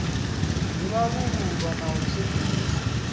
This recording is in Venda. ḓi vhalululwa na u sedzuluswa